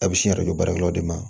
A bɛ sin yɛrɛ jɔ baarakɛlaw de ma